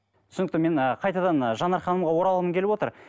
түсінікті мен ы қайтадан ы жанар ханымға оралғым келіп отыр